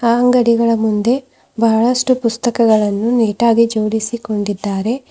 ಅಂಗಡಿಗಳ ಮುಂದೆ ಬಹಳಷ್ಟು ಪುಸ್ತಕಗಳನ್ನು ನೀಟಾಗಿ ಜೋಡಿಸಿಕೊಂಡಿದ್ದಾರೆ.